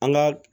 An ka